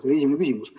See oli esimene küsimus.